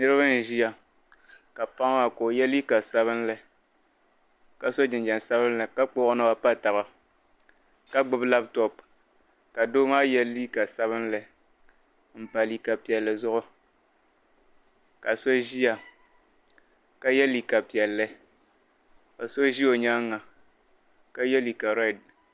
Niriba n-ʒia ka paɣa maa ka o ye liika sabilinli ka so jinjam sabilinli ka kpuɣi o naba m-pa taba ka gbibi lapitɔpu ka doo maa ye liika sabilinli m-pa liika piɛlli zuɣu ka so ʒia ka ye liika piɛlli ka so ʒi o nyaaŋga ka ye liika rɛdi.